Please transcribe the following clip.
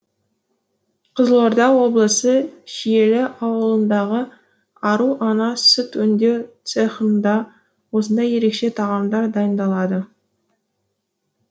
қызылорда облысы шиелі ауданындағы ару ана сүт өңдеу цехында осындай ерекше тағамдар дайындалады